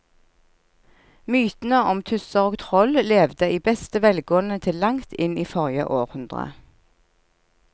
Mytene om tusser og troll levde i beste velgående til langt inn i forrige århundre.